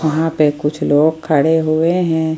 वहां पे कुछ लोग खड़े हुए हैं।